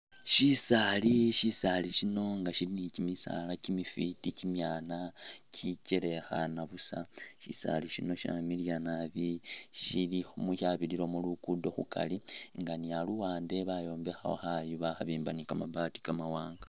Shisaali , shisaali shino nga shili ni kyimisaala kimifwiti kimyaana kikyelekhana busa ,shisaali shino shyamiliya nabi, shili khumu yabiriramu lugudo khukari nga ni aluwande bayombekhawo khayu bakhabimba ni kamabaati kamawanga